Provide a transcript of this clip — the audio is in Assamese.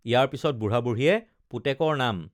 ইয়াৰ পিচত বুঢ়া বুঢ়ীয়ে পুতেকৰ নাম